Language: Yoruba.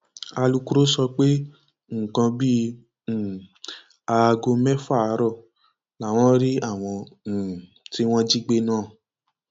àwọn èèyàn mẹta tọwọ àwọn ọlọpàá tẹ náà ni àwọdélé àdédégbà dáúdà kazeem àti hasan ramón